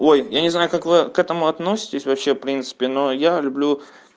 ой я не знаю как вы к этому относитесь вообще в принципе но я люблю